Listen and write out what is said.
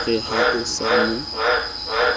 re ha o sa mo